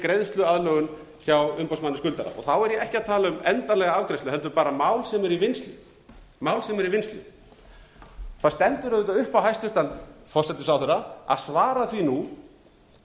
greiðsluaðlögun hjá umboðsmanni skuldara þá er ég ekki að tala um endanlega afgreiðslu heldur bara mál sem eru í vinnslu mál sem eru í vinnslu það stendur auðvitað upp á hæstvirtan forsætisráðherra að svara því nú